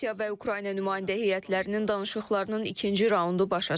Rusiya və Ukrayna nümayəndə heyətlərinin danışıqlarının ikinci raundu başa çatıb.